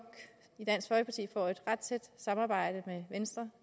får et ret tæt samarbejde med venstre